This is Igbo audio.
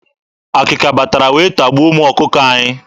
Akịka batara wee tagbuo ụmụ ọkụkọ anyị.